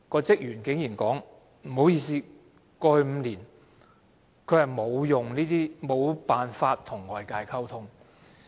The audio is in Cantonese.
職員竟然說，不好意思，過去5年，他無法和外界溝通。